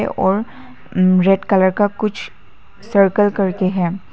और red colour का कुछ सर्कल करके हैं।